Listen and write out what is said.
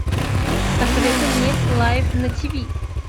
посоветуй мне лайф на ти ви